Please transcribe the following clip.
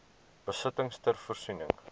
besittings ter voorsiening